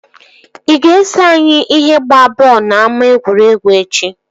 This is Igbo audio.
Ị ga-eso anyị ihe gbaa bọọlụ na ama egwuregwu echi?